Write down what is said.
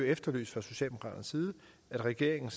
efterlyst at regeringen